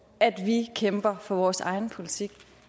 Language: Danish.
at vi kæmper for vores egen politik